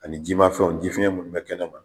Ani ji ma fɛnw jifiyɛn munnu be kɛnɛma.